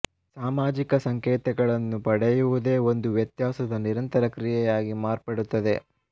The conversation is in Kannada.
ಸಾಮಾಜಿಕ ಸಂಕೇತಗಳನ್ನು ಪಡೆಯುವುದೇ ಒಂದು ವ್ಯತ್ಯಾಸದ ನಿರಂತರ ಕ್ರಿಯೆಯಾಗಿ ಮಾರ್ಪಡುತ್ತದೆ